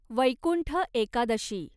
Vaikuntha Ekadashi